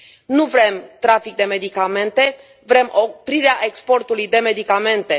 Nu vrem trafic de medicamente, vrem oprirea exportului de medicamente.